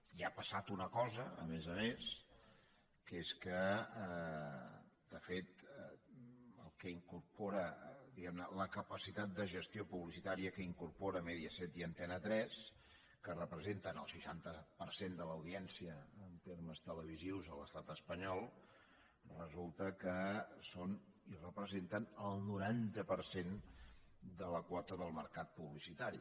i ha passat una cosa a més a més que és que de fet el que incorpora diguem ne la capacitat de gestió publicitària que incorporen mediaset i antena tres que representen el seixanta per cent de l’audiència en termes televisius a l’estat espanyol resulta que són i representen el noranta per cent de la quota del mercat publicitari